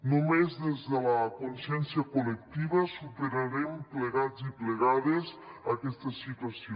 només des de la consciència col·lectiva superarem plegats i plegades aquesta situació